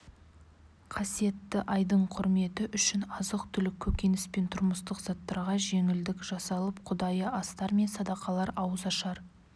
қасиетті айдың құрметі үшін азық-түлік көкөніс пен тұрмыстық заттарға жеңілдік жасалып құдайы астар мен садақалар ауызашар